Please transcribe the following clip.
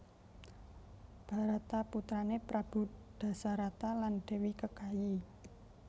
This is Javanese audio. Barata putrané Prabu Dasarata lan Dèwi Kekayi